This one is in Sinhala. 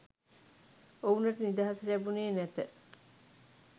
ඔවුනට නිදහස ලැබුනේ නැත.